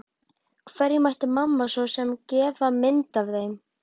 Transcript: Hverjum ætti mamma svo sem að gefa mynd af þeim?